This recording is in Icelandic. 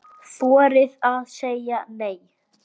Ykkar Salvör.